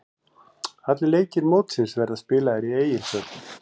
Allir leikir mótsins verða spilaðir í Egilshöll.